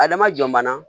Adama jɔn bana